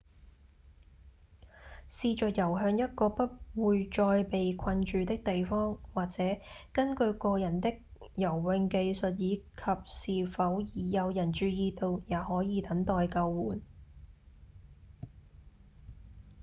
試著遊向一個不會再被困住的地方或者根據個人的游泳技術以及是否已有人注意到也可以等待救援